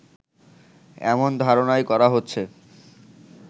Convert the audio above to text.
এমন ধারণাই করা হচ্ছে